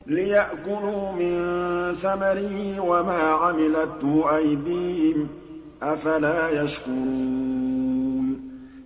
لِيَأْكُلُوا مِن ثَمَرِهِ وَمَا عَمِلَتْهُ أَيْدِيهِمْ ۖ أَفَلَا يَشْكُرُونَ